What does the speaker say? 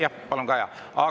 Jah, palun, Kaja!